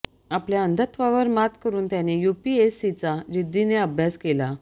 आपल्या अंधत्वावर मात करुन त्यानं यूपीएससीचा जिद्दीनं अभ्यास केला